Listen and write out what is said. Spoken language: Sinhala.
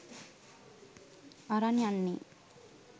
අරන් යන්නේ